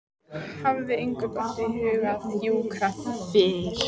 Hafði engum dottið í hug að hjúkra fyrr?